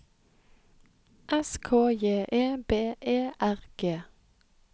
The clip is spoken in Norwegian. S K J E B E R G